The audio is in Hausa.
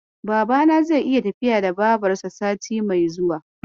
Babana zai yi tafiya da Babarsa sati mai zuwa.